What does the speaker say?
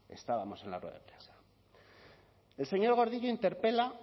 estábamos en la rueda de prensa el señor gordillo interpela